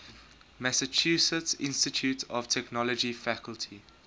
massachusetts institute of technology faculty